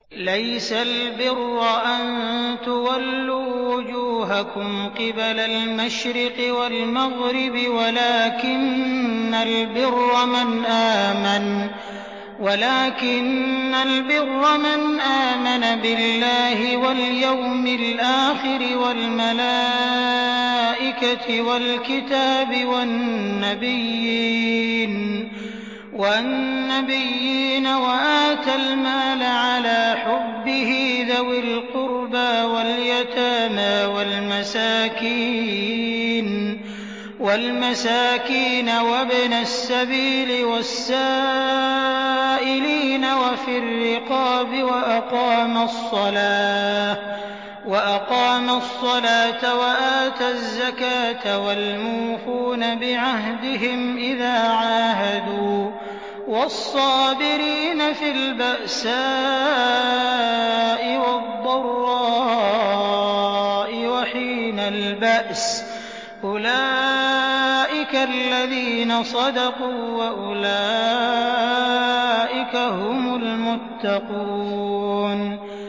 ۞ لَّيْسَ الْبِرَّ أَن تُوَلُّوا وُجُوهَكُمْ قِبَلَ الْمَشْرِقِ وَالْمَغْرِبِ وَلَٰكِنَّ الْبِرَّ مَنْ آمَنَ بِاللَّهِ وَالْيَوْمِ الْآخِرِ وَالْمَلَائِكَةِ وَالْكِتَابِ وَالنَّبِيِّينَ وَآتَى الْمَالَ عَلَىٰ حُبِّهِ ذَوِي الْقُرْبَىٰ وَالْيَتَامَىٰ وَالْمَسَاكِينَ وَابْنَ السَّبِيلِ وَالسَّائِلِينَ وَفِي الرِّقَابِ وَأَقَامَ الصَّلَاةَ وَآتَى الزَّكَاةَ وَالْمُوفُونَ بِعَهْدِهِمْ إِذَا عَاهَدُوا ۖ وَالصَّابِرِينَ فِي الْبَأْسَاءِ وَالضَّرَّاءِ وَحِينَ الْبَأْسِ ۗ أُولَٰئِكَ الَّذِينَ صَدَقُوا ۖ وَأُولَٰئِكَ هُمُ الْمُتَّقُونَ